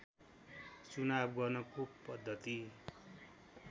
चुनाव गर्नको पद्धति